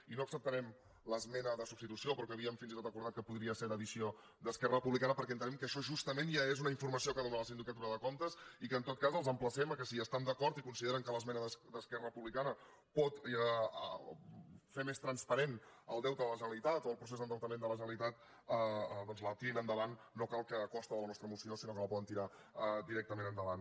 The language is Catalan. i no acceptarem l’esmena de substitució però havíem fins i tot acordat que podria ser d’addició d’esquerra republicana perquè entenem que això justament ja és una informació que dóna la sindicatura de comptes i que en tot cas els emplacem que si hi estan d’acord i consideren que l’esmena d’esquerra republicana pot fer més transparent el deute de la generalitat o el procés d’endeutament de la generalitat doncs la tirin endavant no cal que a costa de la nostra moció sinó que la poden tirar directament endavant